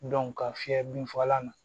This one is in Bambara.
ka fiyɛ binfagalan na